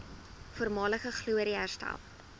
voormalige glorie herstel